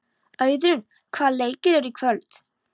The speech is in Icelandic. Auðrún, hvaða leikir eru í kvöld?